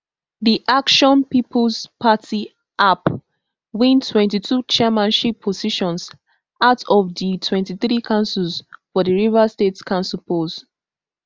di action peoples party app win twenty-two chairmanship positions out of di twenty-three councils for di rivers state council polls